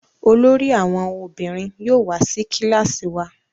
olórí àwọn ọmọbìnrin yóò wá sí kilasi wá.